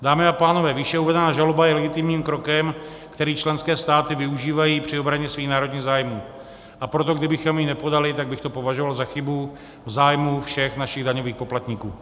Dámy a pánové, výše uvedená žaloba je legitimním krokem, který členské státy využívají při obraně svých národních zájmů, a proto kdybychom ji nepodali, tak bych to považoval za chybu v zájmu všech našich daňových poplatníků.